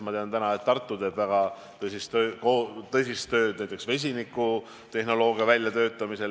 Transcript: Ma tean, et Tartu teeb väga tõsist tööd näiteks vesinikutehnoloogia väljatöötamisel.